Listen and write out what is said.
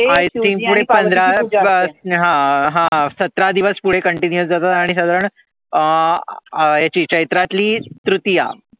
आणी ती पुढे पंधरा हा हा सतरा दिवस पुढे continuous साधारण अं चैत्रातली तृतिया